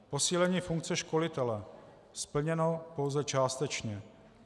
Posílení funkce školitele - splněno pouze částečně.